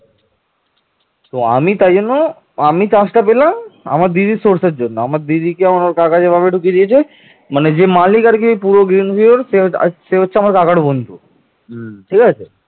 কিন্তু উগ্রনন্দ একটি বিরাট সেনাবাহিনী নিয়ে আলেকজাণ্ডারের মোকাবিলার জন্য প্রস্তুত হন